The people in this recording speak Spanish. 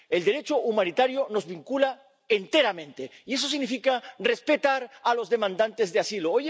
El Derecho humanitario nos vincula enteramente, y eso significa respetar a los demandantes de asilo.